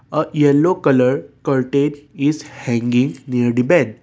a yellow colour curtain is hanging near the bed.